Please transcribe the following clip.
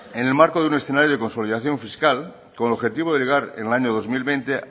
en el marco de un escenario de consolidación fiscal con el objetivo de llegar en el año dos mil veinte